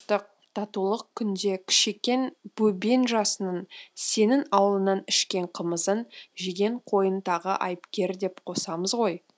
татулық күнде кішекең бөбең жасының сенің аулыңнан ішкен қымызын жеген қойын тағы айыпкер деп қосамыз ғой